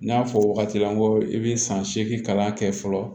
N y'a fɔ wagati la n ko i bɛ san seegin kalan kɛ fɔlɔ